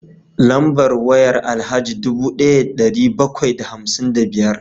Lambar wayar Alhaji dubu daya da dari bakwai da hamsin da biyar